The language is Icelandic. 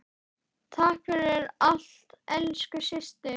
Takk fyrir allt, elsku systir.